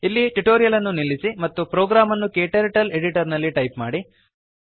ಇಲ್ಲಿ ಟ್ಯುಟೋರಿಯಲ್ ಅನ್ನು ನಿಲ್ಲಿಸಿ ಮತ್ತು ಪ್ರೋಗ್ರಾಮ್ ಅನ್ನು ಕ್ಟರ್ಟಲ್ editorನಲ್ಲಿ ಟೈಪ್ ಮಾಡಿ